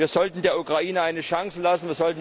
Wir sollten der Ukraine eine Chance lassen.